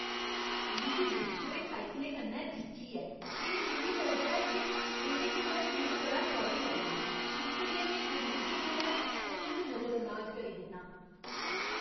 मिगी लिश्कदे साइकलें कन्नै जिच्ची ऐ की जे मिगी लगदा ऐ जे एह्दे कन्नै में बड़ा टौह्‌री लग्गना , इस करियै में खरीददे बेल्लै उ'नें गी नजरअंदाज करी दिन्नां।